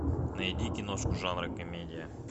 найди киношку жанра комедия